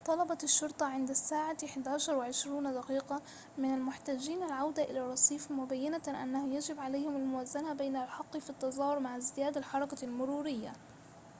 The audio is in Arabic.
طلبت الشرطة عند الساعة 11:20 من المحتجين العودة إلى الرصيف مبينّة أنه يجب عليهم الموازنة بين الحق في التظاهر مع ازدياد الحركة المرورية